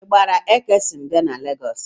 Ịgbara Ekesoni bịa na legọọsị?